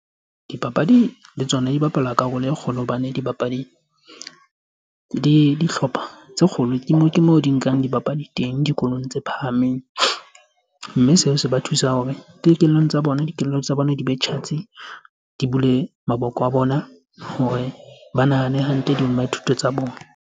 Dipapadi le tsona di bapala karolo e kgolo hobane dibapadi di dihlopha tse kgolo. Ke mo ke mo di nkang dibapadi teng dikolong tse phahameng. Mme seo se ba thusa hore tsa bona, dikelello tsa bona di be tjhatsi, di bulehe maboko a bona hore ba nahane hantle, dithuto tsa bona.